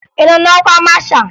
Ị nọ n'ọkwa masha?